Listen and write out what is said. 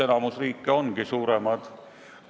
Enamik riike ongi suuremad.